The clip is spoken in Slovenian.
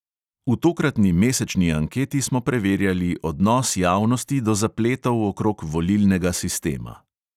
V tokratni mesečni anketi smo preverjali odnos javnosti do zapletov okrog volilnega sistema.